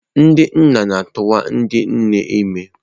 Ndị nna na-atụwa ndị nne ime.